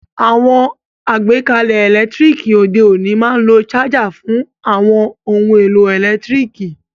Àwon àgbékalẹ̀ ẹ́lẹ̀ntirikì òde ọ̀ní ma n lo charger fun àwon oun èlò ẹ́lẹ̀ntirikì